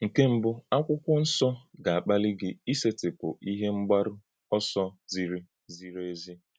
Nkè mbù, Akwụ́kwọ́ Nsọ ga-akpàlí gị ísètịpụ́ ìhè mgbárù òsò zìrí zìrí ezi.